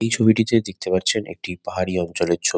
এই ছবিটিতে দেখতে পারছেন একটি পাহাড়ি অঞ্চলের ছবি।